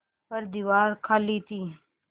पर दीवार खाली थी